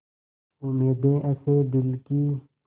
उम्मीदें हसें दिल की